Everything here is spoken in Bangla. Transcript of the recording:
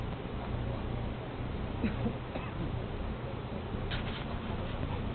একটা বড় rank এর officer আসবে ওখানে এসে lecture দেবে । ঠান্ডা লেগেছে ?